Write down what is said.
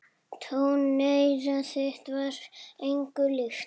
Tóneyra þitt var engu líkt.